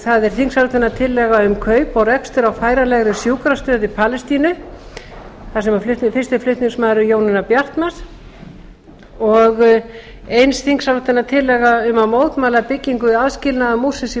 það er þingsályktunartillaga um kaup og rekstur á færanlegri sjúkrastöð í palestínu þar sem fyrsti flutningsmaður er jónína bjartmarz og eins þingsályktunartillaga um að mótmæla byggingu aðskilnaðarmúrsins í